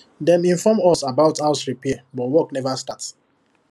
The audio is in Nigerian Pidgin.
dem inform us about house repair but work never start